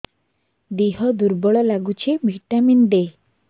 ଦିହ ଦୁର୍ବଳ ଲାଗୁଛି ଭିଟାମିନ ଦେ